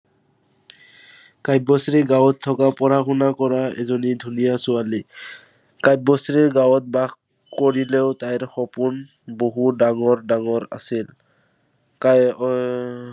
কাব্যশ্ৰী গাঁৱত থকা, পঢ়া-শুনা কৰা এজনী ধুনীয়া ছোৱালী। কাব্যশ্ৰী গাঁৱত বাস কৰিলেও তাইৰ সপোন বহুত ডাঙৰ ডাঙৰ আছিল। এৰ